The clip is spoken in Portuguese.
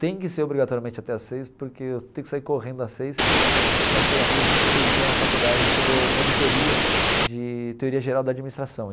Tem que ser obrigatoriamente até às seis, porque eu tenho que sair correndo às seis para chegar às seis e vinte, seis e meia na faculdade, que eu dou monitoria de teoria geral da administração.